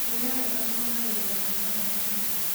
Kũrĩa wega kũogagĩrĩra hinya wa mwĩrĩ